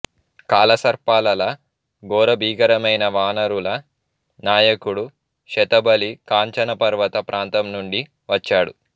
కాలసర్పాలలా ఘోర భీకరమైన వానరుల నాయకుడు శతబలి కాంచనపర్వత ప్రాంతంనుండి వచ్చాడు